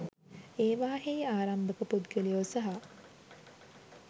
ඒවායෙහි ආරම්භක පුද්ගලයෝ සහ